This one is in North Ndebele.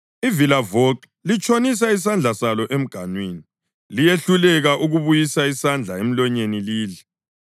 Ivilavoxo litshonisa isandla salo emganwini, liyehluleke ukubuyisa isandla emlonyeni lidle.